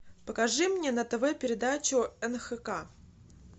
покажи мне на тв передачу нхк